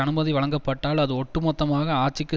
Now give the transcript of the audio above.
அனுமதி வழங்கப்பட்டால் அது ஒட்டுமொத்தமாக ஆட்சிக்கு